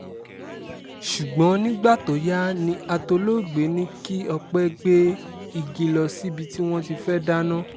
ṣùgbọ́n nígbà tó yá ni atòlógbè ní kí ọpẹ́ gbé igi lọ síbi tí wọ́n ti fẹ́ẹ́ dáná